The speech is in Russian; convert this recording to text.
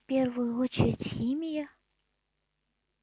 в первую очередь химия